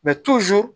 Mɛ